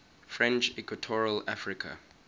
french equatorial africa